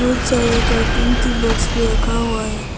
सारे कार्टून की बॉक्स भी रखा हुआ है।